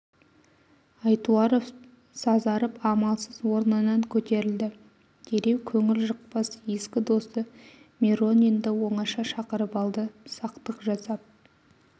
айтуаров сазарып амалсыз орнынан көтерілді дереу көңіл жықпас ескі досы миронинді оңаша шақырып алды сақтық жасап